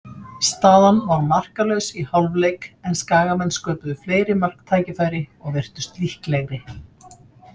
Staðan var markalaus í hálfleik, en Skagamenn sköpuðu fleiri marktækifæri og virtust líklegri.